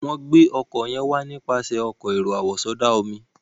wón gbé oko yen wá nípasẹ Ọkọ̀ èrò àwọ̀sọdá-omi.